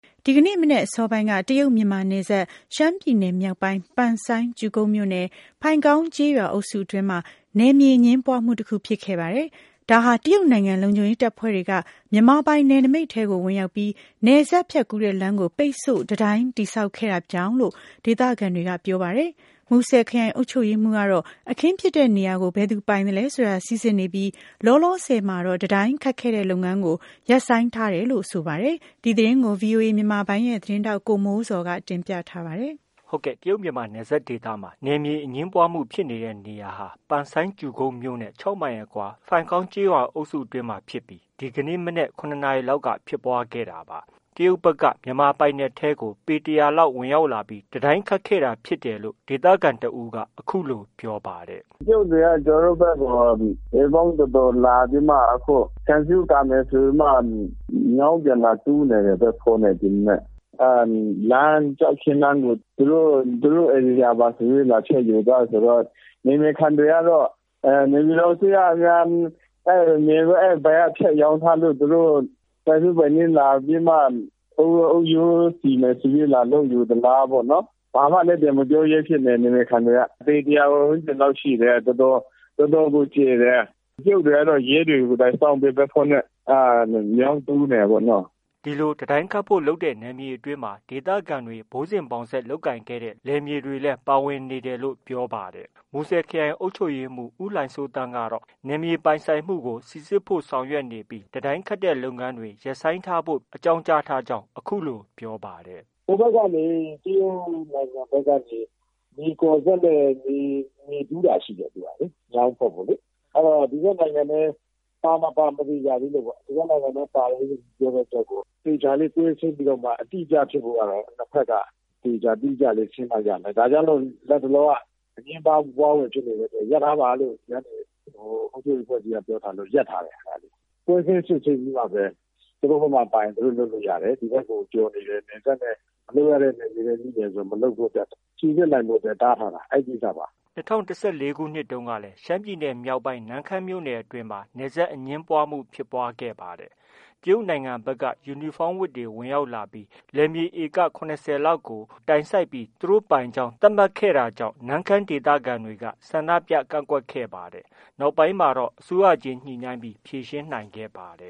ဒီကနေ့ မနက်အစောပိုင်းက တရုတ်- မြန်မာနယ်စပ် ရှမ်းပြည်နယ်မြောက်ပိုင်း ပန်ဆိုင်း မြို့နယ် ဖိုင်ကောင်းကျေးရွာအုပ်စု အတွင်းက နယ်မြေအငြင်းပွားမှု တခုဖြစ်ခဲ့ပါတယ်။ တရုတ်နိုင်ငံ လုံခြုံရေးတပ်ဖွဲ့တွေက မြန်မာပိုင် နယ်နမိတ် ထဲကို ဝင်ရောက်ပြီးနယ်စပ်ဖြတ်ကူးတဲ့ လမ်းကို ပိတ်ဆို့ တံတိုင်းတည်ဆောက်ခဲ့တာလို့ ဒေသခံတွေကပြောပါတယ်။ မူဆယ်ခရိုင်အုပ်ချုပ်ရေးမှူး ကတော့ အခင်းဖြစ်တဲ့နေရာကို ဘယ်သူ ပိုင်ဆိုင်သလဲဆိုတာ စိစစ်နေပြီး လောလောဆည်မှာတော့ တံတိုင်းခတ်ခဲ့ လုပ်ငန်းကို ရပ်ဆိုင်း ခိုင်းထားတယ်လို့ ဆိုပါတယ်။ ဒီသတင်းကို ဗွီအိုအေမြန်မာပိုင်းရဲ့ သတင်းထောက် ကိုမိုးဇော်က တင်ပြထားပါတယ်။ တရုတ်မြန်မာနယ်ဒေသမှာ နယ်မြေအငြင်းပွားမှုဖြစ်နေတဲ့ နေရာဟာ ပန်ဆိုင်း မြို့ နဲ့ ၆မိုင်အကွာ ဖိုင်ကောင်းကျေးရွာ အုပ်စုအတွင်းမှာ မနက် ၇နာရီလောက် က ဖြစ်ပွားခဲ့တာပါ။ တရုတ်တွေက မြန်မာပိုင်နယ်ထဲကို ပေ ၁၀၀ ဝန်းကျင်လောက် ဝင်ရောက်ပြီး တံတိုင်းခတ် တာဖြစ်တယ်လို့ ဒေသခံတစ်ဦးက အခုလို ပြောပါတယ်။ “ တရုတ်တွေက ကျနော်တို့ဘက်ကို ပေပေါင်းတော်တော်လာပြီးမှ ခြံစည်းရိုး ကာမယ်ဆိုပြီးမှ မြောင်းပြန်လာတူးနေတယ်။ ဘတ်ဖိုးနဲ့ ဒီမနက်။ ကျောက်ခင်းလမ်းကို သူတို့ ဧရိယာပါဆိုပြီးတော့ လာပြီးတော့ ဖြတ်ယူသွားတယ်ဆိုတော့ နယ်မြေခံတွေကတော့ နေပြည်တော်အစိုးရကများ အဲဒီအပိုင်း ဖြတ်ရောင်းထား လို့ သူတို့ ပိုင်စိုးပိုင်းနင်း လာပြီးမှ အုတ်ရိုးစီမယ်ဆိုပြီး လာလုပ်ယူသလားပေါ့။ ဘာမှလည်း ပြန်မပြောရဲဖြစ်နေတယ်။ နယ်မြေခံတွေက။ ပေတစ်ရာဝန်းကျင်လောက်ရှိတယ်။ တော်တော်ကို ကျယ်တယ်။ တရုတ်တွေကတော့ ရဲတွေ ကိုယ်တိုင်စောင့်ပြီး ဘတ်ဖိုးနဲ့ မြောင်းတူးနေတာပေါ့နော်။” ဒီလို တံတိုင်းခတ်ဖို့ လုပ်တဲ့ နယ်မြေအတွင်းမှာ ဒေသခံတွေ ဘိုးစဉ်ဘောင်ဆက်လုပ်ကိုင်ခဲ့တဲ့ လယ်မြေတွေလည်း ပါဝင်နေတယ်လို့ ပြောပါတယ်။ မူဆယ်ခရိုင်အုပ်ချုပ်ရေးမှူး ဦးလှိုင်စိုးသန်းကတော့ နယ်မြေပိုင်ဆိုင်မှုကို စိစစ်ဖို့ ဆောင်ရွက်နေပြီး လုပ်ငန်းတွေ ရပ်ဆိုင်းဖု့ိ ပြောဆိုထားကြောင်း အခုလို ပြောပါတယ်။ “ ဟိုဘက်ကနေ တရုတ်နိုင်ငံဘက်ကနေ မြေကော်စက်နဲ့ မြေ တူးတာရှိတယ်။ မြောင်းဖောက်ဖို့လေ။ အဲတော့ ဒီဘက်နိုင်ငံထဲ ပါ မပါ မသေချာသေးလို့ပေါ့။ ဒီဘက်နိုင်ငံထဲ ပါတယ်လို့ ပြောတဲ့အတွက်ကို သေချာလေး ကွင်းဆင်းပြီးတော့မှ အတိအကျဖြစ်ဖို့ကတော့ နှစ်ဘက်က သေချာ တိကျလေး ရှင်းမှ ရမယ်။ ဒါကြောင့်မို့ နှစ်ဘက်က အငြင်းပွားဖွယ်ဖြစ်နေတဲ့အတွက် ရပ်ထားပါလို့ အုပ်ချုပ်ရေးအဖွဲ့အစည်းက ပြောထားလို့ ရပ်ထားတယ်။ ကွင်းဆင်းစစ်ဆေးပြီးမှပဲ သူတို့ဘက်ကမှာ ပါနေရင် သူတို့ လုပ်လို့ ရတယ်။ ဒီဘက်ကို ကျော်နေရင် နယ်စပ်နဲ့ မလုပ်ရတဲ့နယ်မြေထဲ ရောက်တယ်ဆို မလုပ်ဖို့ စိစစ်နိုင်ဖို့ တားထားတာ။ အဲဒီကိစ္စပါ။ ” ၂၀၁၄ခုနှစ်တုန်းကလည်း ရှမ်းပြည်နယ်မြောက်ပိုင်း နမ့်ခမ်းမြို့နယ်အတွင်းမှာ နယ်စပ်အငြင်းပွားမှုဖြစ်ပွားခဲ့ပါတယ်။ တရုတ်နိုင်ငံဖက်က ယူနီဖောင်းဝတ်တွေ ဝင်ရောက်လာပြီး လယ်မြေ`ဧက ၇၀လောက်ကို တိုင်စိုက်ပြီး သူတို့ပိုင်ကြောင်း သတ်မှတ်ခဲ့လို့ နမ့်ခမ်းဒေသခံတွေက ဆန္ဒြုပကန့်ကွက်ခဲ့ပါတယ်။ နောက်ပိုင်းမှာတော့ အစိုးရချင်း ညှိနှိုင်းဖြေရှင်းခဲ့ပါတယ